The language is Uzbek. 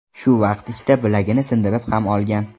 Shu vaqt ichida bilagini sindirib ham olgan.